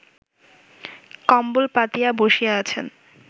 কম্বল পাতিয়া বসিয়া আছেন